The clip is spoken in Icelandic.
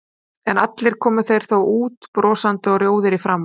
En allir komu þeir þó út brosandi og rjóðir í framan.